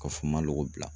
Ka fɔ n ma lɔgɔ bila